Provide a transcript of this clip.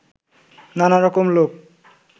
নানা রকম লোক